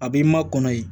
A b'i ma kɔnɔ ye